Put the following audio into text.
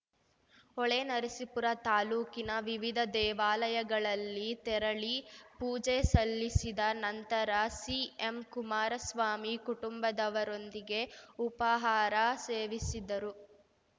ಹೊಳೆನರಸೀಪುರ ತಾಲೂಕಿನ ವಿವಿಧ ದೇವಾಲಯಗಳಲ್ಲಿ ತೆರಳಿ ಪೂಜೆ ಸಲ್ಲಿಸಿದ ನಂತರ ಸಿಎಂ ಕುಮಾರಸ್ವಾಮಿ ಕುಟುಂಬದವರೊಂದಿಗೆ ಉಪಹಾರ ಸೇವಿಸಿದರು